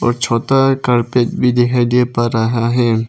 छोटा कार्पेट भी दिखाई दे पा रहा है।